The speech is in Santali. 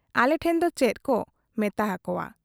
ᱟᱞᱮ ᱴᱷᱮᱱ ᱫᱚ ᱪᱮᱫ ᱠᱚ ᱢᱮᱛᱟ ᱟᱠᱚᱣᱟ ᱾